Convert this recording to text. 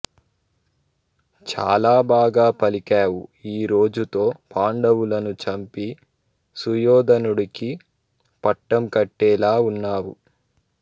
చాలా బాగా పలికావు ఈ రోజుతో పాండవులను చంపి సుయోధనుడికి పట్టం కట్టేలా ఉన్నావు